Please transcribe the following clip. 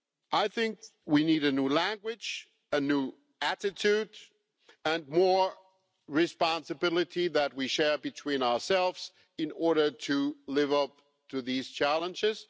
I think we need a new language, a new attitude and more responsibility that we share between ourselves in order to live up to these challenges.